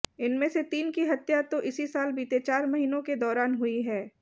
इनमें से तीन की हत्या तो इसी साल बीते चार महीनों के दौरान हुई है